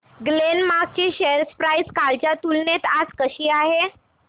Glenmark ची share price कालच्या तुलनेत आज कशी आहे